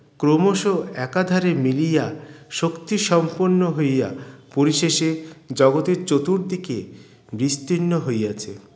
ক্রমশঃ একাধারে মিলিয়া শক্তি সম্পন্ন হইয়া পরিশেষে জগতের চতুর্দিকে বিস্তির্ণ হইয়াছে